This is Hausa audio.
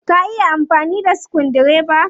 Ka iya amfani da sukudireba?